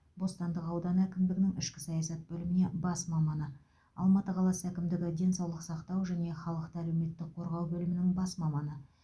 бостандық ауданы әкімдігінің ішкі саясат бөліміне бас маманы алматы қаласы әкімдігі денсаулық сақтау және халықты әлеуметтік қорғау бөлімінің бас маманы